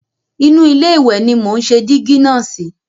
Inú ilé ìwẹ̀ ni mò ń ṣe dígí náà sí.